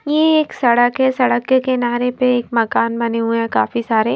ये एक सड़क है सड़क के किनारे पे एक मकान बने हुए हैं काफी सारे।